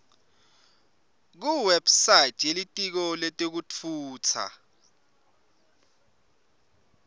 kuwebsite yelitiko letekutfutsa